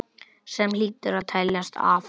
Sem hlýtur að teljast afrek.